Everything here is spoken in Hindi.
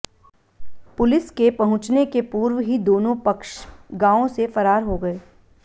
पुलिस के पहुंचने के पूर्व ही दोनों पक्ष गांव से फरार हो गए